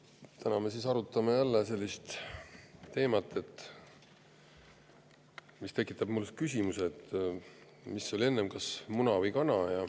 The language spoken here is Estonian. Täna me arutame jälle sellist teemat, mis tekitab minus küsimuse, mis oli enne: kas muna või kana.